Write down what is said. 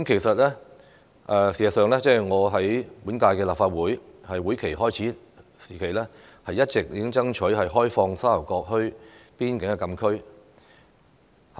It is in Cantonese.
事實上，我在本屆立法會會期開始時，已一直爭取開放沙頭角墟邊境禁區。